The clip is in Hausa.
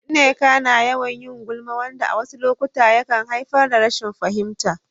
Nneka na yawan yin gulma, wanda a wasu lokuta yakan haifar da rashin fahimta.